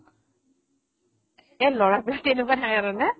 এহ্ ল'ৰাবিলাক কেনেকুৱা থাকে